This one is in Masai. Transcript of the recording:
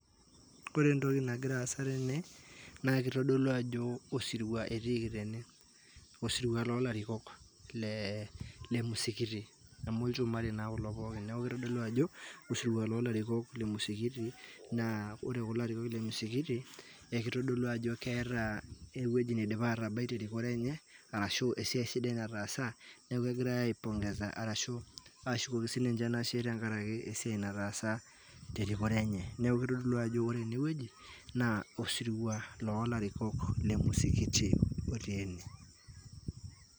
Ore entoki nagira aasa tene, na kitodolu ajo osirua etiiki tene, osirua lolarikok le musikiti amu ilchumari na kulo pooki, niaku kitodolu ajo osirua lo larikok le musikiti, naa ore kulo arikok le musikiti na kitodolu ajo keeta ewueji nindipa atabai terikore enye, ashu esiai sidai natasaa niaku kegirae aipongesa ashu aisho ninye anashe tesiai sidai natasa terikore enye niaku kitodolu ajo ore eneweuji na osirua lolarikok le musikiti oti ene.